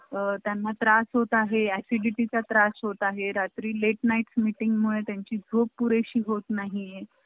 त्यांना त्रास होत आहे, acidity चा त्रास होत आहे, रात्री late night meeting मुळे त्यांची झोप पुरे शी होत नाही.